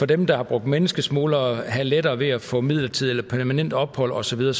dem der har brugt menneskesmuglere skal have lettere ved at få midlertidigt eller permanent ophold og så videre